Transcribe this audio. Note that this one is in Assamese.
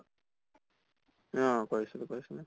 অ কৰিছিলো কৰিছিলো